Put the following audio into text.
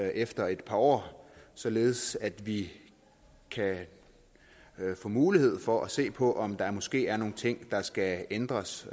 efter et par år således at vi kan få mulighed for at se på om der måske er nogle ting der skal ændres